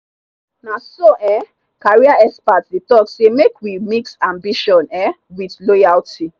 na so um career expert dey talk say may we mix ambition um with loyalty.